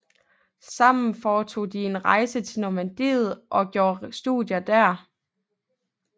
Sammen foretog de en rejse til Normandiet og gjorde studier der